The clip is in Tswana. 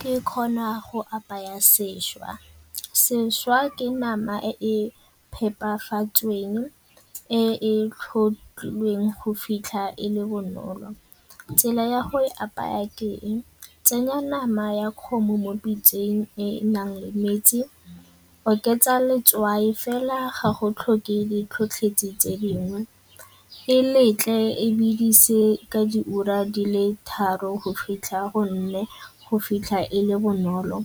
Ke kgona go apaya sešwa. Sešwa ke nama e e phepafatsweng e e tlhotlhilweng go fitlha e le bonolo. Tsela ya go e apaya ke e, tsenya nama ya kgomo mo pitseng e e nang le metsi, oketsa letswai fela ga go tlhokege di tlhotlhetsi tse dingwe e letle e bedise ka diura di le tharo go fitlha e le bonolo.